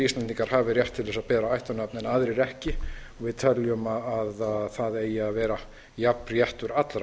íslendingar hafi rétt til að bera ættarnafn en aðrir ekki við teljum að það eigi að vera jafn réttur allra